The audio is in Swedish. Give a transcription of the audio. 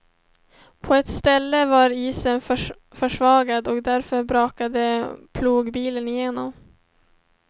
På ett ställe var isen försvagad och där brakade plogbilen igenom.